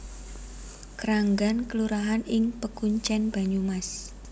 Kranggan kelurahan ing Pekuncèn Banyumas